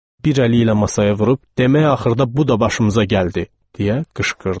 Bir əli ilə masaya vurub, demək axırda bu da başımıza gəldi, deyə qışqırdı.